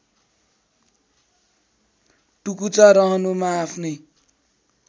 टुकुचा रहनुमा आफ्नै